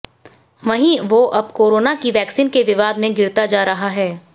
वहीं वो अब कोरोना की वैक्सीन के विवाद में घिरता जा रहा है